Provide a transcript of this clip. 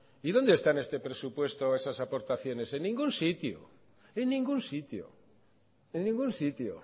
y dónde está en este presupuesto esas aportaciones en ningún sitio en ningún sitio en ningún sitio